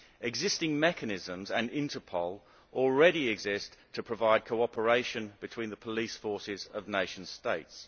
Existing mechanisms and Interpol already exist to provide cooperation between the police forces of nation states.